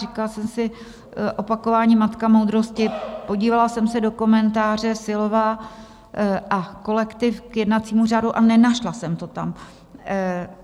Říkala jsem si, opakování matka moudrosti, podívala jsem si do komentáře Silová a kolektiv k jednacímu řádu a nenašla jsem to tam.